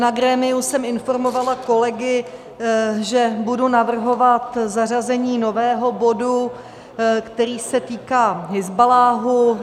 Na grémiu jsem informovala kolegy, že budu navrhovat zařazení nového bodu, který se týká Hizballáhu.